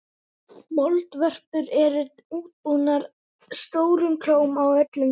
Moldvörpur eru útbúnar stórum klóm á öllum tám.